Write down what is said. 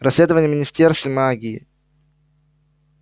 расследование в министерстве магии